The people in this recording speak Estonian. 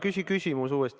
Küsi küsimus uuesti.